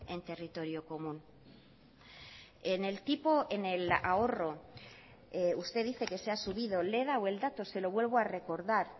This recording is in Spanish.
en territorio común en el tipo en el ahorro usted dice que se ha subido le he dado el dato se lo vuelvo a recordar